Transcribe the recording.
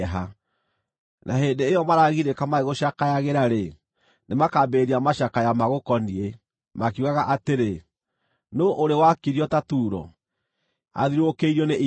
Na hĩndĩ ĩyo maragirĩka magĩgũcakayagĩra-rĩ, nĩmakambĩrĩria macakaya magũkoniĩ, makiugaga atĩrĩ: “Nũũ ũrĩ wakirio ta Turo, athiũrũrũkĩirio nĩ iria?”